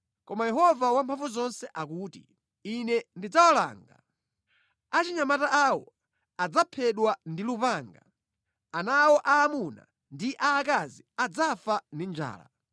koma Yehova Wamphamvuzonse akuti, ‘Ine ndidzawalanga. Achinyamata awo adzaphedwa ndi lupanga, ana awo aamuna ndi aakazi adzafa ndi njala.